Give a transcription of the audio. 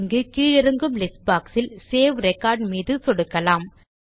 இங்கு கீழிறங்கும் list box இல் சேவ் ரெக்கார்ட் மீது சொடுக்கலாம்